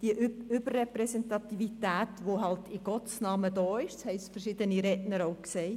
Diese Überrepräsentativität existiert in Gottes Namen existiert, was verschiedene Redner auch gesagt haben.